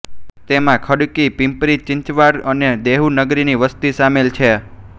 તેમાં ખડકી પિંપરીચિંચવાડ અને દેહુ નગરની વસતી સામેલ છે